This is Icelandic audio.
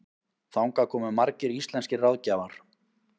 Þangað komu margir íslenskir ráðgjafar.